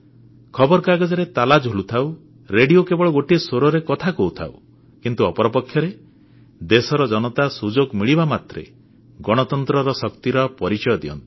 ଖବରକାଗଜରେ ତାଲା ଝୁଲୁଥାଉ ରେଡ଼ିଓ କେବଳ ଗୋଟିଏ ସ୍ୱରରେ କଥା କହୁଥାଉ କିନ୍ତୁ ଅପରପକ୍ଷରେ ଦେଶର ଜନତା ସୁଯୋଗ ମିଳିବା ମାତ୍ରେ ଗଣତନ୍ତ୍ରର ଶକ୍ତିର ପରିଚୟ ଦିଅନ୍ତି